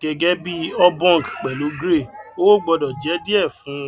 gẹgẹ bí obong pẹlú grey owó gbọdọ jẹ díẹ fún